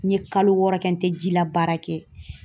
N ye kalo wɔɔrɔ kɛ, n tɛ jilabaara kɛ.